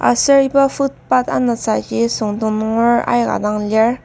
Aser iba foot path anasaji süngdong nunger aika dang lir.